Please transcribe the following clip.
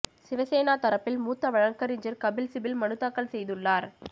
சிவசேனா தரப்பில் மூத்த வழக்கறிஞர் கபில் சிபில் மனுத் தாக்கல் செய்துள்ளார்